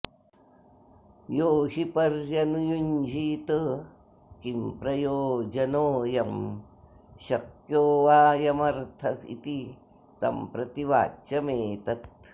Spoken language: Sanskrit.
यो हि पर्यनुयुञ्जीत किं प्रयोजनोऽयं शक्यो वाऽयमर्थ इति तं प्रति वाच्यमेतत्